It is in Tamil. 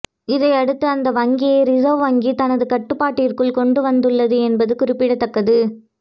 இதையடுத்து அந்த வங்கியை ரிசர்வ் வங்கி தனது கட்டுப்பாட்டிற்குள் கொண்டு வந்துள்ளது என்பது குறிப்பிடத்தக்கது